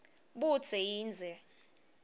budze yindze